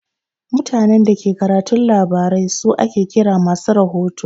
Mutanen Dake karatun labarai su ake kira masu rahoto.